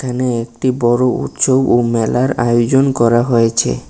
এখানে একটি বড় উৎসব ও মেলার আয়োজন করা হয়েছে।